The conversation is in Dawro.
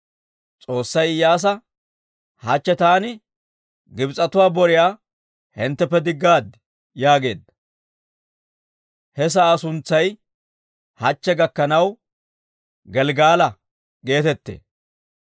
S'oossay Iyyaasa, «Hachche taani Gibs'etuwaa boriyaa hintteppe diggaad» yaageedda. He sa'aa suntsay hachche gakkanaw Gelggala geetettee.